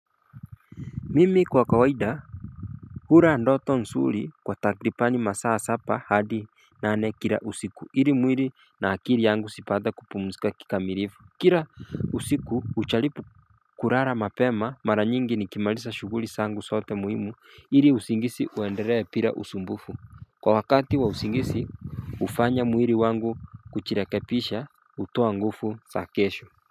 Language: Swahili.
Mimi kwa kawaida Hula ndoto nzuri kwa takribani masaa saba hadi nane kila usiku hili mwili na akili yangu zipate kupumzika kikamilifu Kila usiku ujalibu kulala mapema mara nyingi nikimaliza shughuli zangu zote muhimu iri usingizi uendelee bila usumbufu Kwa wakati wa usingizi ufanya mwili wangu kuchirekebisha utoa nguvu za kesho.